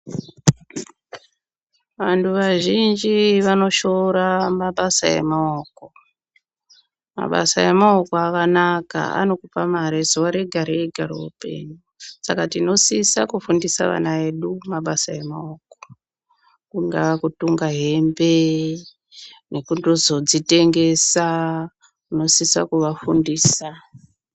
Anhu vazhinji vanoshoora mabasa emaoko, mabasa emaoko akanaka anokupa mare zuva rega-rega roupenyu. Saka tinosisa kufundisa vana vedu mabasa emaoko. Kungaa kutunga hembe nekundozodzitengesa, tinosisa kuvafudisa.